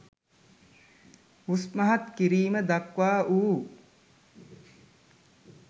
උස් මහත් කිරීම දක්වා වූ